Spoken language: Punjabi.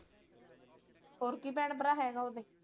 ਹੋਰ ਕੀ ਭੈਣ ਭਰਾ ਹੈਗਾ ਓਹਦੇ?